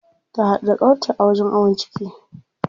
Ta haɗu da ƙawarta a wajen awon ciki.